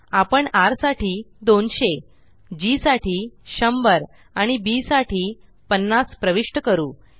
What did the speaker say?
आपण र साठी 200 जी साठी100 आणि बी साठी 50 प्रविष्ट करू